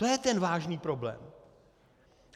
To je ten vážný problém.